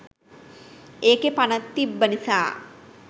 ඒකෙ පණ තිබ්බ නිසා